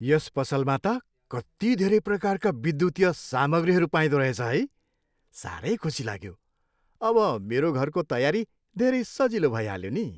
यस पसलमा त कति धेरै प्रकारका विद्युतीय सामग्रीहरू पाइँदो रहेछ है? साह्रै खुसी लाग्यो। अब मेरो घरको तयारी धेरै सजिलो भइहाल्यो नि।